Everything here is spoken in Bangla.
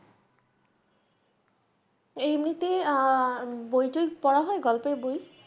এমনিতে আঁ বইটই পড়া হয় গল্পের বই।